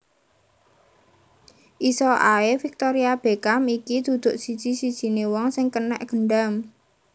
Iso ae Victoria Beckham iki duduk siji sijine wong sing kenek gendam